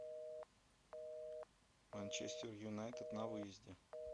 манчестер юнайтед на выезде